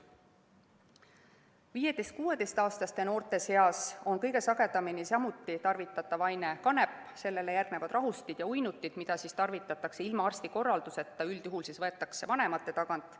15–16‑aastaste noorte seas on samuti kõige sagedamini tarvitatav aine kanep, sellele järgnevad rahustid ja uinutid, mida tarvitatakse ilma arsti korralduseta, üldjuhul võetakse neid vanemate tagant.